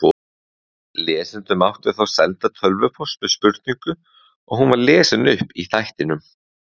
Lesendur máttu þá senda tölvupóst með spurningu og hún var lesin upp í þættinum.